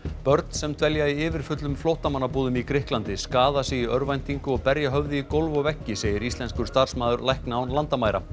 börn sem dvelja í yfirfullum flóttamannabúðum í Grikklandi skaða sig í örvæntingu og berja höfði í gólf og veggi segir íslenskur starfsmaður lækna án landamæra